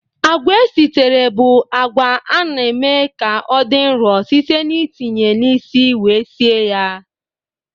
Agwa esitere bụ agwa a na-eme ka ọ dị nro site n'itinye na isi wee sie ya.